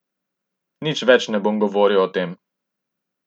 Nič več ne bom govoril o tem.